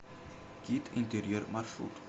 кит интерьер маршрут